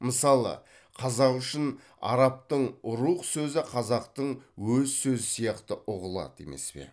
мысалы қазақ үшін арабтың рух сөзі қазақтың өз сөзі сияқты ұғылады емес пе